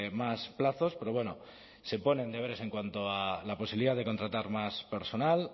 más plazos pero bueno se ponen deberes en cuanto a la posibilidad de contratar más personal